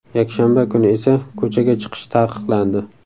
Yakshanba kuni esa ko‘chaga chiqish taqiqlandi.